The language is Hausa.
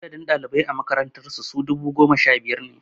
Adadin ɗalibai a makarantar su dubu biyu da goma sha biyar ne